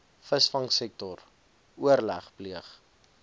visvangsektor oorleg pleeg